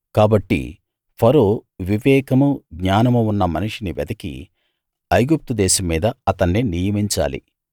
కాబట్టి ఫరో వివేకమూ జ్ఞానమూ ఉన్నమనిషిని వెతికి ఐగుప్తు దేశం మీద అతన్ని నియమించాలి